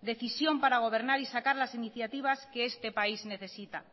decisión para gobernar y sacar las iniciativas que este país necesita